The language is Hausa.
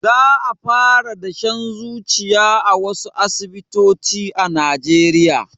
Za a fara dashen zuciya a wasu asibitoci a najeriya